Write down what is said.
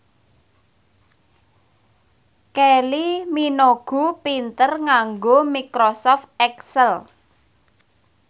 Kylie Minogue pinter nganggo microsoft excel